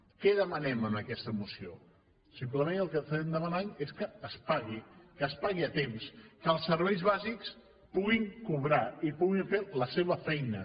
què demanem en aquesta moció simplement el que demanem és que es pagui que es pagui a temps que els serveis bàsics puguin cobrar i puguin fer la seva feina